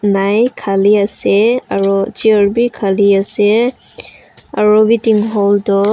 nai Khali ase aro Chair bi khali ase aru bi tin hall toh--